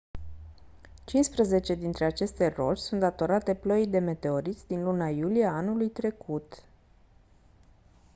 cincisprezece dintre aceste roci sunt datorate ploii de meteoriți din luna iulie a anului trecut